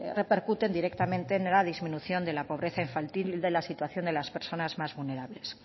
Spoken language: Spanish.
repercuten directamente en la disminución de la pobreza infantil y de la situación de las personas más vulnerables